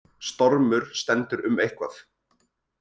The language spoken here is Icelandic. Stormur stendur um eitthvað